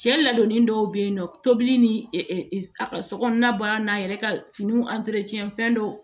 Cɛ ladonni dɔw bɛ yen nɔ tobili ni a ka sokɔnɔna baara n'a yɛrɛ ka finiw fɛn dɔw